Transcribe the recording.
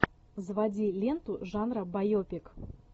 заводи ленту жанра байопик